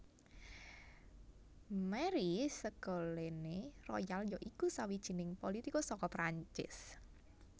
Marie Ségolène Royal ya iku sawijining politikus saka Prancis